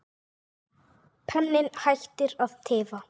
Penninn hættir að tifa.